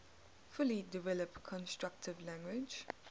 fully developed constructed language